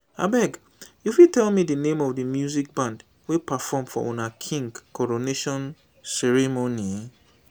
abeg you fit tell me di name of the music band wey perform for una king coronation ceremony?